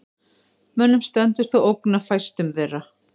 Mönnum stendur þó ógn af fæstum þeirra.